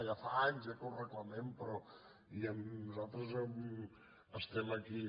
ja fa anys eh que ho reclamem però nosaltres estem aquí